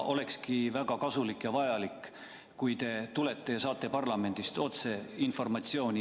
Olekski väga kasulik ja vajalik, et te tulete siia ja saate parlamendist otse informatsiooni.